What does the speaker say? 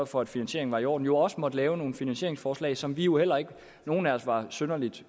for at finansieringen var i orden jo også måtte lave nogle finansieringsforslag som vi jo heller ikke nogen af os var synderlig